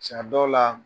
Caa dɔw la